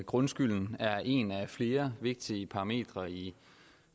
grundskylden er en af flere vigtige parametre i